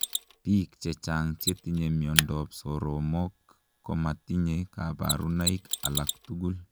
Piik chechang chetinye miondoop soromok komatinyee kabarunaik alak tugul.